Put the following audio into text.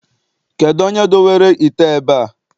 Kedụ onye dowere ite a ebe a?